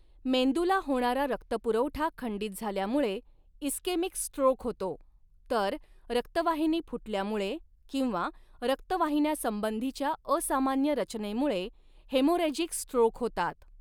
मेंदूला होणारा रक्तपुरवठा खंडित झाल्यामुळे इस्केमिक स्ट्रोक होतो, तर रक्तवाहिनी फुटल्यामुळे किंवा रक्तवहिन्यासंबंधीच्या असामान्य रचनेमुळे हेमोरेजिक स्ट्रोक होतात.